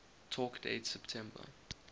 talk date september